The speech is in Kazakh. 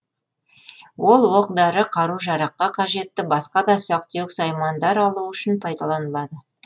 ол оқ дәрі қару жараққа қажетті басқа да ұсақ түйек саймандар алу үшін пайдаланылады